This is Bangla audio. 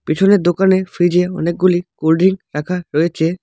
পিছনের দোকানে ফ্রিজ -এ অনেকগুলি কোল্ড ড্রিঙ্ক রাখা রয়েচে।